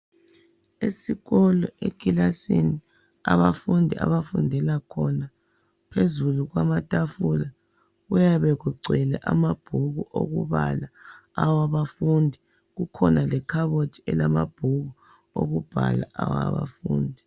Esikolo ekilasini, abafundi abafundela khona, phezulu kwamatafula kuyabe kugcwele amabhuku okubala awabafundi kukhonalekhabothi elamabhuku okubhala awabafundi.